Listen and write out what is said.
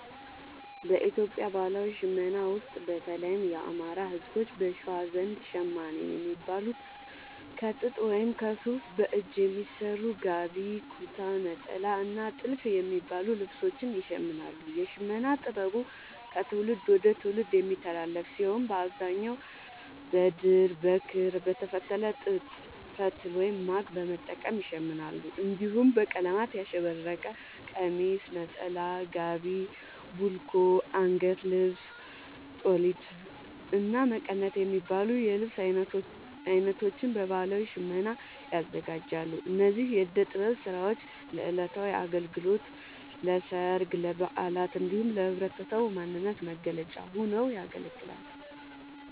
በኢትዮጵያ ባህላዊ ሽመና ውስጥ፣ በተለይም የአማራ፣ ህዝቦች(በሸዋ) ዘንድ ‘ሸማኔ’ የሚባሉት ከጥጥ ወይም ከሱፍ በእጅ በሚሰሩ ‘ጋቢ’፣ ‘ኩታ’፣ ‘ኔጣላ’ እና ‘ቲልፍ’ የሚባሉ ልብሶችን ይሽምናሉ። የሽመና ጥበቡ ከትውልድ ወደ ትውልድ የሚተላለፍ ሲሆን፣ በአብዛኛው በድር፣ በክር፣ በተፈተለ ጥጥ ፈትል(ማግ) በመጠቀም ይሸምናሉ። እንዲሁም በቀለማት ያሸበረቀ ቀሚስ፣ ነጠላ፣ ጋቢ፣ ቡልኮ፣ አንገት ልብስ(ጦሊት)፣እና መቀነት የሚባሉ የልብስ አይነቶችን በባህላዊ ሽመና ያዘጋጃሉ። እነዚህ የእደ ጥበብ ስራዎች ለዕለታዊ አገልግሎት፣ ለሠርግ፣ ለበዓላት እንዲሁም ለህብረተሰቡ ማንነት መገለጫ ሆነው ያገለግላሉ።